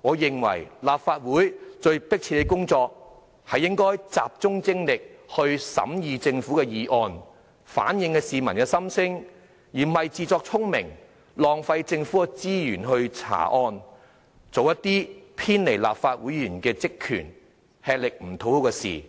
我認為立法會最迫切的工作是集中精力審議政府的議案，反映市民心聲，而不是自作聰明，浪費政府資源來查案，做一些偏離立法會議員職權，吃力不討好的事情。